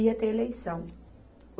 ia ter eleição.